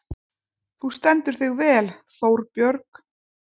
Þú stendur þig vel, Þórbjörg!